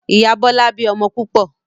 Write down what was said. Ìyá Bọlá bí ọmọ púpọ̀